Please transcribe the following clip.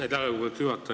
Aitäh, lugupeetud juhataja!